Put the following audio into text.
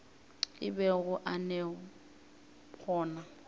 a bego a le gona